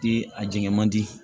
Di a jɛngɛ man di